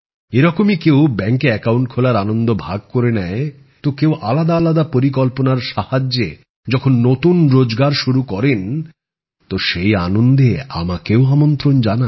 এরকমই কেউ ব্যাংকে অ্যাকাউন্ট খোলার আনন্দ ভাগ করে নেয় তো কেউ আলাদা আলাদা পরিকল্পনার সাহায্যে যখন নতুন রোজগার শুরু করেন তো সেই আনন্দে আমাকেও আমন্ত্রন জানান